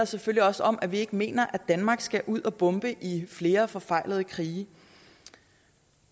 selvfølgelig også om at vi ikke mener at danmark skal ud og bombe i flere forfejlede krige